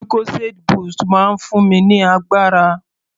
Lucozade boost máa ń fún mi ní agbára.